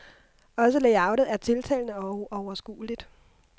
Også layoutet er tiltalende og overskueligt.